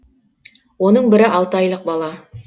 оның бірі алты айлық бала